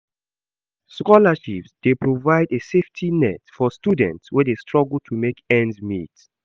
Scholarships dey provide a safety net for students wey dey struggle to make ends meet.